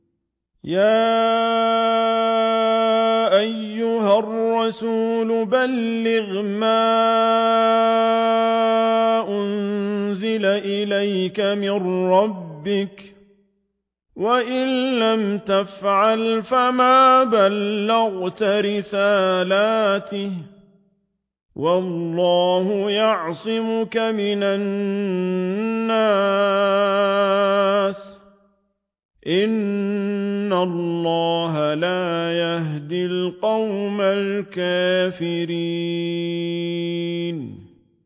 ۞ يَا أَيُّهَا الرَّسُولُ بَلِّغْ مَا أُنزِلَ إِلَيْكَ مِن رَّبِّكَ ۖ وَإِن لَّمْ تَفْعَلْ فَمَا بَلَّغْتَ رِسَالَتَهُ ۚ وَاللَّهُ يَعْصِمُكَ مِنَ النَّاسِ ۗ إِنَّ اللَّهَ لَا يَهْدِي الْقَوْمَ الْكَافِرِينَ